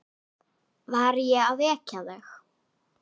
Var ég að vekja þig?